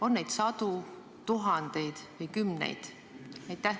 On neid sadu, tuhandeid või kümneid?